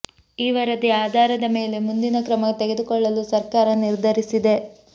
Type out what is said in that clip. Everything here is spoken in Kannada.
ಈ ವರದಿ ಆಧಾರದ ಮೇಲೆ ಮುಂದಿನ ಕ್ರಮ ತೆಗೆದುಕೊಳ್ಳಲು ಸರ್ಕಾರ ನಿರ್ಧರಿಸಿದೆ